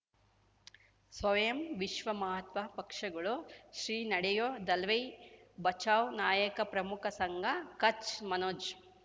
ಸ್ವಯಂ ವಿಶ್ವ ಮಹಾತ್ಮ ಪಕ್ಷಗಳು ಶ್ರೀ ನಡೆಯೂ ದಲೈ ಬಚೌ ನಾಯಕ ಪ್ರಮುಖ ಸಂಘ ಕಚ್ ಮನೋಜ್